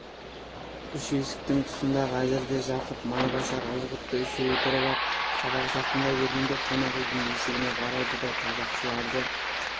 үш есіктің тұсында қазірде жақып майбасар ызғұтты үшеуі тұрып ап табақ жақындай бергенде қонақүйдің есігіне қарайды да табақшыларды